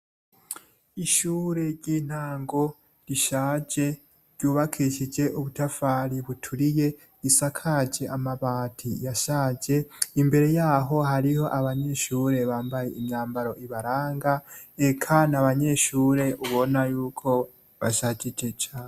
Ishure ry’intango rishaje ry’ubakishije ubutafari buturiye isakaje amabati yashaje, imbere yaho hariho abanyeshure bambaye imyambaro ibaranga eka n’abanyeshure ubona yuko bashajije cane.